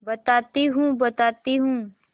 बताती हूँ बताती हूँ